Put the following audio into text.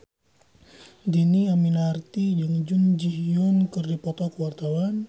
Dhini Aminarti jeung Jun Ji Hyun keur dipoto ku wartawan